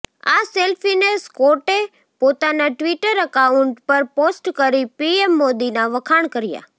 આ સેલ્ફીને સ્કોટે પોતાના ટ્વિટર એકાઉન્ટ પર પોસ્ટ કરી પીએમ મોદીના વખાણ કર્યા